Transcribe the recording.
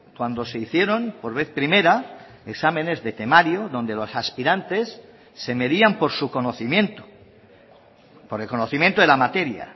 cuando se hicieron por vez primera exámenes de temario donde los aspirantes se medían por su conocimiento por el conocimiento de la materia